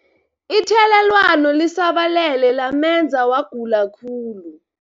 Ithelelwano lisabalele lamenza wagula khulu.